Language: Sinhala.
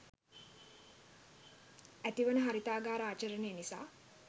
ඇතිවන හරිතාගාර ආචරණය නිසා